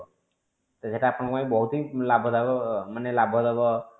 ତ ସେଇଟା ଆପଣଙ୍କ ପାଇଁ ବହୁତ ହି ଲାଭ ଦାୟକ ମାନେ ଲାଭ ଦବ